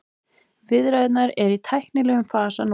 Viðræðurnar eru í tæknilegum fasa núna